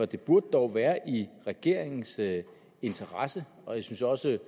det burde dog være i regeringens interesse og jeg synes også